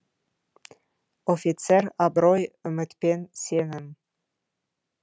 офицер абырой үміт пен сенім